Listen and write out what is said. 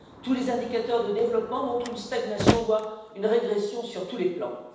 Tous les indicateurs de développement montrent une stagnation, voire une régression sur tous les plans.